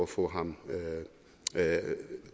for at